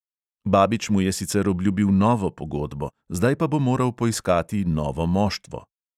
Babič mu je sicer obljubil novo pogodbo, zdaj pa bo moral poiskati novo moštvo.